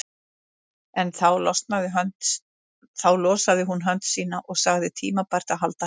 En þá losaði hún hönd sína og sagði tímabært að halda heim.